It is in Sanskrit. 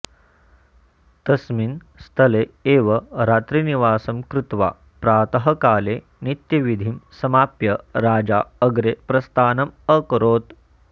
तस्मिन् स्थले एव रात्रिनिवासं कृत्वा प्रातःकाले नित्यविधिं समाप्य राजा अग्रे प्रस्थानम् अकरोत्